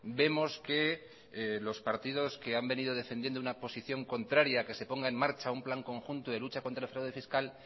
vemos que los partidos que han venido defendiendo una posición contraria a que se ponga en marcha un plan conjunto de lucha contra el fraude fiscal